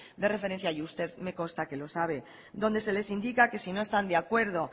de referencia y usted me consta que lo sabe donde se les indica que si no están de acuerdo